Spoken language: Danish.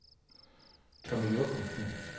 Tommy Jochumsen